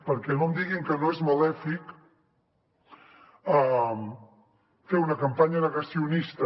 perquè no em diguin que no és malèfic fer una campanya negacionista